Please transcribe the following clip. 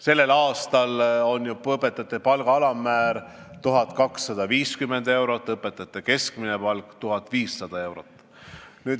Sellest aastast on õpetaja palga alammäär 1250 eurot ja õpetaja keskmine palk 1500 eurot.